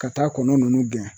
Ka taa kɔnɔ nunnu gɛn